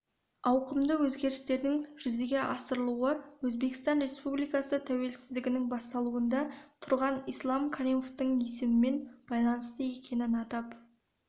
ауқымды өзгерістердің жүзеге асырылуы өзбекстан республикасы тәуелсіздігінің бастауында тұрған ислам каримовтің есімімен байланысты екенін атап